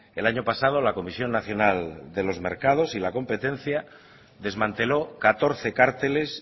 el año pasado la comisión nacional de los mercados y la competencia desmanteló catorce cárteles